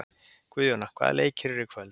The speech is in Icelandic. Guðjóna, hvaða leikir eru í kvöld?